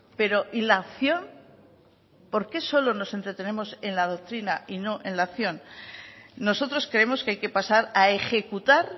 pero y la acción por qué solo nos entretenemos en la doctrina y no en la acción nosotros creemos que hay que pasar a ejecutar